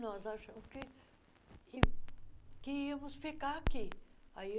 Nós achamos que que íamos ficar aqui. aí